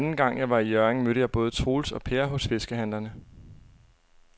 Anden gang jeg var i Hjørring, mødte jeg både Troels og Per hos fiskehandlerne.